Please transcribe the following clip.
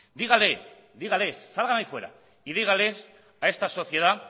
dígales salgan ahí fuera y dígales a esta sociedad